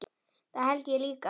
Það held ég líka